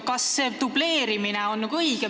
Kas see dubleerimine on õige?